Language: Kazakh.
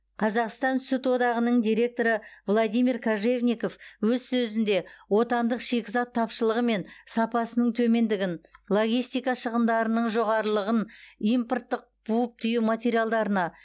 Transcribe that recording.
қазақстан сүт одағының директоры владимир кожевников өз сөзінде отандық шикізат тапшылығы мен сапасының төмендігін логистика шығындарының жоғарылығын импорттық буып түю материалдарына